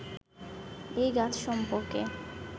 এই গাছ সম্পর্কে